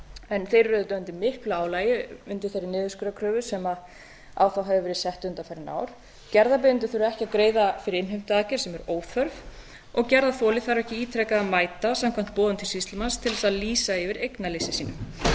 en þeir eru auðvitað undir miklu álagi undir þeirri niðurskurðarkröfu sem á þá hefur verið sett undanfarin ár gerðarbeiðendur þurfa ekki að greiða fyrir innheimtuaðgerð sem er óþörf og gerðarþoli þarf ekki ítrekað að mæta samkvæmt boðun til sýslumanns til þess að lýsa yfir eignaleysi sínu